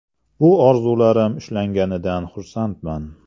Bu orzularim ushalganidan xursandman.